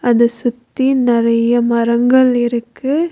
அத சுத்தி நொறைய மரங்கள் இருக்கு.